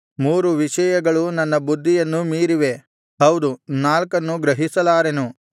ಮೂರು ವಿಷಯಗಳು ನನ್ನ ಬುದ್ಧಿಯನ್ನು ಮೀರಿವೆ ಹೌದು ನಾಲ್ಕನ್ನು ಗ್ರಹಿಸಲಾರೆನು